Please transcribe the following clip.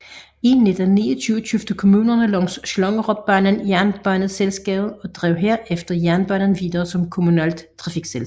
I 1929 købte kommunerne langs Slangerupbanen jernbaneselskabet og drev herefter jernbanen videre som kommunalt trafikselskab